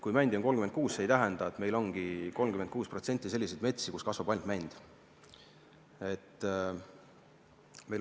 Kui mändi on 36%, siis see ei tähenda, et meil ongi 36% selliseid metsi, kus kasvab ainult mänd.